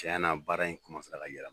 Tiɲɛ na baara in ka yɛlɛma